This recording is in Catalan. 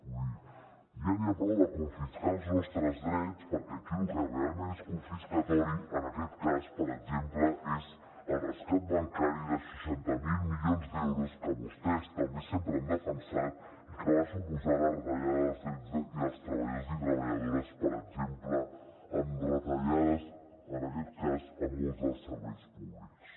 vull dir ja n’hi ha prou de confiscar els nostres drets perquè aquí lo que realment és confiscatori en aquest cas per exemple és el rescat bancari de seixanta miler milions d’euros que vostès també sempre han defensat i que va suposar la retallada dels drets dels treballadors i treballadores per exemple amb retallades a molts dels serveis públics